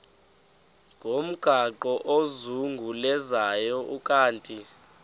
ngomgaqo ozungulezayo ukanti